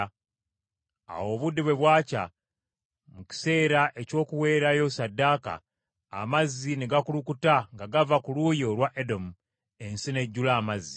Awo obudde bwe bwakya, mu kiseera eky’okuweerayo ssaddaaka, amazzi ne gakulukuta nga gava ku luuyi olwa Edomu, ensi n’ejjula amazzi.